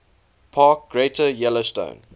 park greater yellowstone